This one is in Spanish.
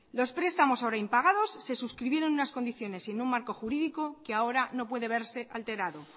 los prestamos ahora impagados se suscribieron en unas condiciones y en un marco jurídico que ahora no puede verse alterado